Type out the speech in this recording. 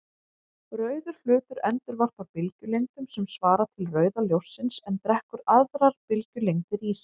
Rauður hlutur endurvarpar bylgjulengdum sem svara til rauða ljóssins en drekkur aðrar bylgjulengdir í sig.